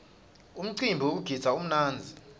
umcimbi wekugidza umnandzi